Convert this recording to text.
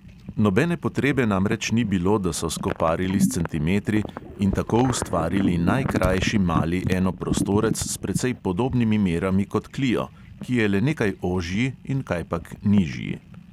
Nobene potrebe namreč ni bilo, da so skoparili s centimetri in tako ustvarili najkrajši mali enoprostorec s precej podobnimi merami kot klio, ki je le nekaj ožji in kajpak nižji.